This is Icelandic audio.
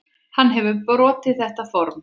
Hann hefur brotið þetta form.